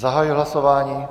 Zahajuji hlasování.